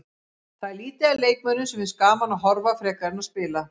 Það er lítið af leikmönnum sem finnst gaman að horfa frekar en að spila.